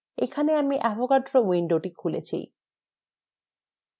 এখানে আমি avogadroউইন্ডোটি খুলেছি